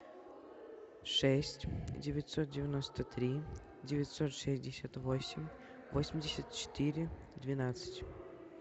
шесть девятьсот девяносто три девятьсот шестьдесят восемь восемьдесят четыре двенадцать